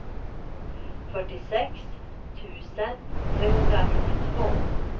fyrtiosex tusen trehundranittiotvå